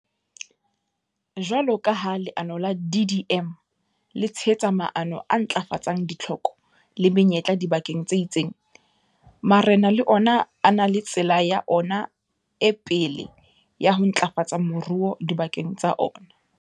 Jwalo ka ha leano la DDM le tshehetsa maano a ntlafatsang ditlhoko le menyetla dibakeng tse itseng, marena le ona a na le tsela ya ona e pele ya ho ntlafatsa moruo dibakeng tsa ona.